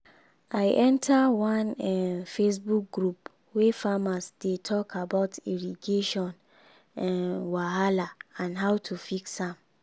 i enter one um facebook group wey farmers dey talk about irrigation um wahala and how to fix am.